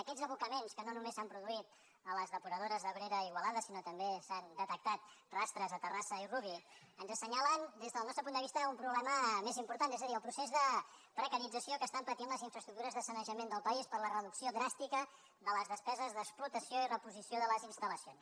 aquests abocaments que no només s’han produït a les depuradores d’abrera i igualada sinó que també se n’han detectat rastres a terrassa i rubí ens assenyalen des del nostre punt de vista un problema més important és a dir el procés el precarització que estan patint les infraestructures de sanejament del país per la reducció dràstica de les despeses d’explotació i reposició de les instal·lacions